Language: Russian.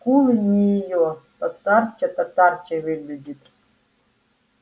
и скулы не её татарча-татарчой выглядит